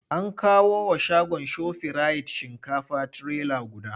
An kawo wa shagon Shofirayit shinkafa trailer guda.